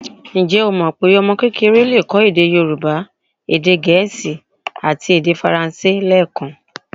Ǹjẹ́ o mọ pé ọmọ kékeré le kọ́ èdè Yorùbá, èdè gẹ̀ẹ́sì àti èdè faransé lẹẹkan?